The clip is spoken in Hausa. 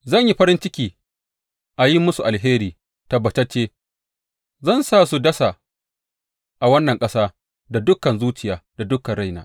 Zan yi farin ciki a yin musu alheri, tabbatacce zan su dasa a wannan ƙasa da dukan zuciyata da dukan raina.